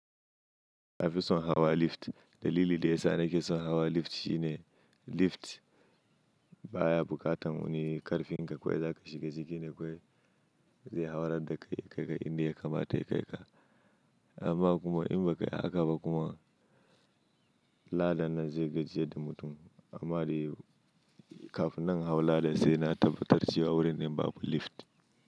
Nafi son hawa lift. Dalili da ya sa nake son hawa lift shine lift baya bukatan wani karfin ka Kwai za ka shiga ciki ne, kawai zai haurar da kai ya kai ka inda ya kamata ya kai ka. Amma kuma in ba kai haka ba kuma ladan nan zai gajiyar da mutum. Amma dai kafin nan na hau ladan sai na tabbatar cewa wurinnan babu lift.